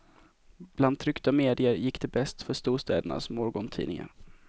Bland tryckta medier gick det bäst för storstädernas morgontidningar.